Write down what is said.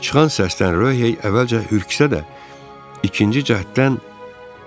Çıxan səsdən Ryohey əvvəlcə ürküsə də, ikinci cəhddən